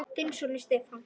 Þinn sonur, Stefán.